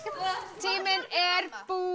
tíminn er